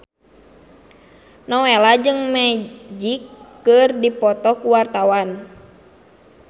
Nowela jeung Magic keur dipoto ku wartawan